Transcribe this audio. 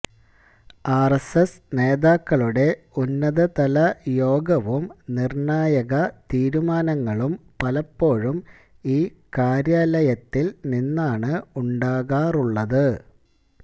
RSS നേതാക്കളുടെ ഉന്നതതലയോഗവും നിര്ണായക തീരുമാനങ്ങളും പലപ്പോഴും ഈ കാര്യാലയത്തില് നിന്നാണ് ഉണ്ടാകാറുള്ളത്